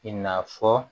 I n'a fɔ